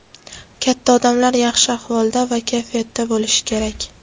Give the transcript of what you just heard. Katta odamlar yaxshi ahvolda va kayfiyatda bo‘lishi kerak.